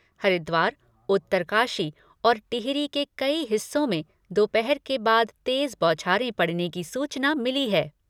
हरिद्वार, उत्तरकाशी और टिहरी के कई हिस्सों में दोपहर के बाद तेज बौछारें पड़ने की सूचना मिली है।